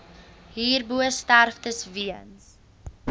hierbo sterftes weens